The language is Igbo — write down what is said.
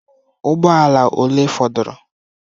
Ụgbọ ala ole fọdụrụ?